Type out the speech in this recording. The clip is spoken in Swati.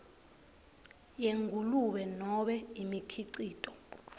yengulube nobe imikhicito